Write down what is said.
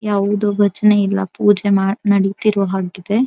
ಯಾವುದೋ ಭಜನೆ ಇಲ್ಲಾ ಪೂಜೆ ನಡೀತಿರೋ ಹಾಗೆ ಇದೆ.